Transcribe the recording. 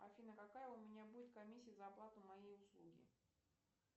афина какая у меня будет комиссия за оплату моей услуги